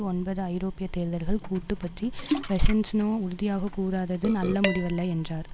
ஒன்பது ஐரோப்பிய தேர்தல்கள் கூட்டு பற்றி பெசன்ஸநோ உறுதியாக கூறாதது நல்ல முடிவல்ல என்றார்